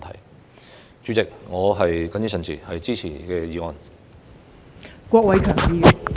代理主席，我謹此陳辭，支持《條例草案》。